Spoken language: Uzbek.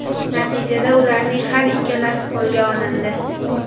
Natijada ularning har ikkalasi qo‘lga olindi.